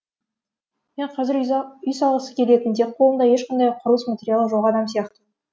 мек қазір үй салғысы келетін тек қолында ешқандай құрылыс материалы жоқ адам сияқтымын